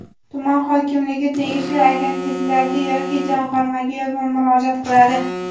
tuman hokimligi tegishli agentliklarga yoki Jamg‘armaga yozma murojaat qiladi.